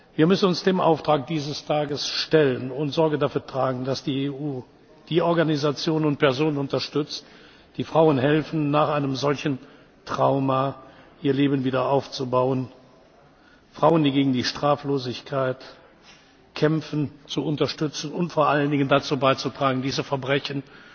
Wir müssen uns dem Auftrag dieses Tages stellen und Sorge dafür tragen, dass die EU die Organisationen und Personen unterstützt, die Frauen helfen, nach einem solchen Trauma ihr Leben wieder aufzubauen, Frauen, die gegen die Straflosigkeit kämpfen, zu unterstützen und vor allem dazu beizutragen, diese Verbrechen